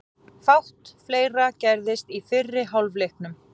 Fátt fleira gerðist í fyrri hálfleiknum.